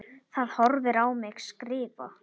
Það horfir á mig skrifa.